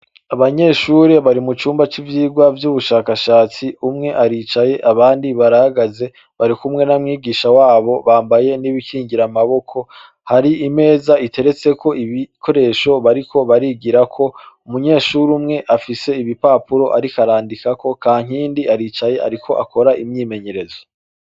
Abanyeshuri bari mu cumba c'ivyirwa vy'ubushakashatsi, umwe aricaye abandi barahagaze barikumwe na mwigisha wabo, bambaye n'ibikingiramaboko, hari imeza iteretseko ibikoresho bariko barigirako. Umunyeshuri umwe afise ibipapuro ariko arandikako, Kankindi aricaye ariko akora imyimenyerezo.